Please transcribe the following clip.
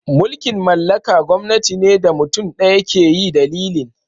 Mulki'n mallaka gwamnati ne da mutum daya ke yi dalilin.